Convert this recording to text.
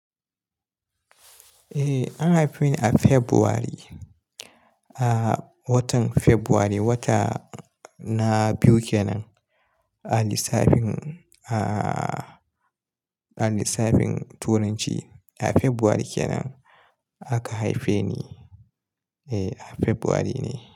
Eh, an haife ni a February, a watan February, wata na biyu ke nan a lissafin, a, lissafin turanci. A February kenan aka haife ni. Eh, a February ne.